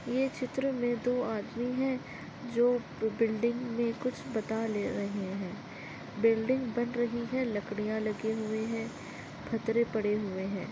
यर चित्र मे दो आदमी है जो बिल्डिंग मे कुछ बता ले रहे है बिल्डिंग बन रही है लकड़िया लगे हुए है फतरे पड़े हुए है।